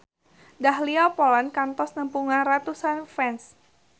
Dahlia Poland kantos nepungan ratusan fans